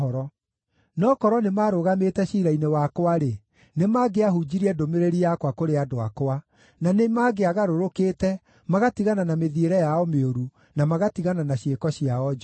No korwo nĩmarũgamĩte ciira-inĩ wakwa-rĩ, nĩmangĩahunjirie ndũmĩrĩri yakwa kũrĩ andũ akwa, na nĩmangĩagarũrũkĩte, magatigana na mĩthiĩre yao mĩũru, na magatigana na ciĩko ciao njũru.